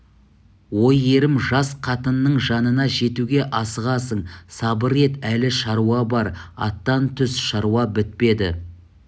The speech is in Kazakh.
ой ерім жас қатынның жанына жетуге асығасың сабыр ет әлі шаруа бар аттан түс шаруа бітпеді